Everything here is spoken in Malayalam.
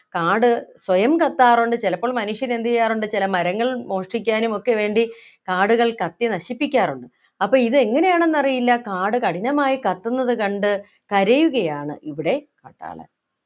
കാട് സ്വയം കത്താറുണ്ട് ചിലപ്പോൾ മനുഷ്യൻ എന്ത് ചെയ്യാറുണ്ട് ചില മരങ്ങൾ മോഷ്ടിക്കാനും ഒക്കെ വേണ്ടി കാടുകൾ കത്തി നശിപ്പിക്കാറുണ്ട് അപ്പൊ ഇത് എങ്ങനെയാണെന്ന് അറിയില്ല കാട് കഠിനമായി കത്തുന്നത് കണ്ട് കരയുകയാണ് ഇവിടെ കാട്ടാളൻ